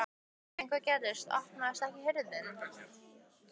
En hvað gerist. opnast ekki hurðin!